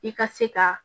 I ka se ka